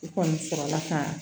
U kɔni sɔrɔla ka